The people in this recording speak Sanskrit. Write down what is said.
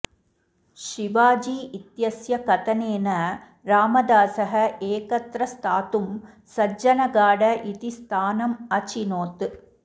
शिवाजी इत्यस्य कथनेन रामदासः एकत्र स्थातुं सज्जनगढ इति स्थानम् अचिनोत्